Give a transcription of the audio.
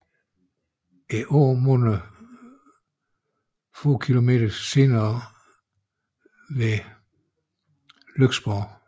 Åen munder få kilometer senere ved Lyksborg i Svendå